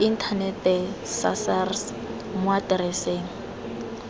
inthanete sa sars mo atereseng